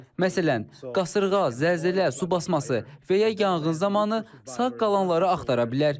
Məsələn, qasırğa, zəlzələ, su basması və ya yanğın zamanı sağ qalanları axtara bilər.